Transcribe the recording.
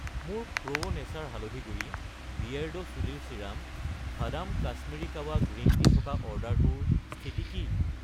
মোৰ Pro Nature হালধি গুড়ি , বিয়েৰ্ডো চুলিৰ ছিৰাম , ভাদাম কাশ্মীৰী কাৱা গ্ৰীণ টি থকা অৰ্ডাৰটোৰ স্থিতি কি?